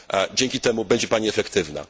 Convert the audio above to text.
Dzięki temu będzie Pani efektywna.